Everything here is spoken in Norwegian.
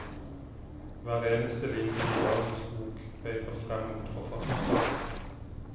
Hver eneste linje i dagens bok peker frem mot forfatterskapet.